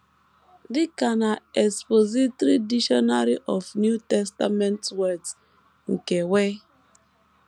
Dị ka An Expository Dictionary of New Testament Words, nke W.